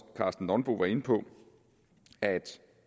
karsten nonbo var inde på at